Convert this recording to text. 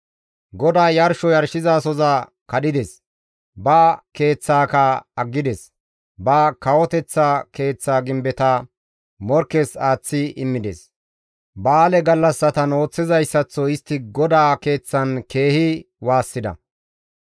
GODAY yarsho yarshizasohoza kadhides; ba keeththaaka aggides; ba kawoteththa keeththa gimbeta morkkes aaththi immides; ba7aale gallassatan ooththizayssaththo istti GODAA Keeththan keehi waassida.